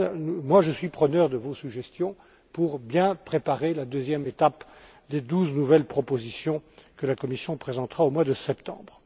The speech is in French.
En tout cas, je suis preneur de vos suggestions pour bien préparer la deuxième étape des douze nouvelles propositions que la Commission présentera au mois de septembre.